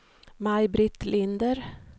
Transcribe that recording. Maj-Britt Linder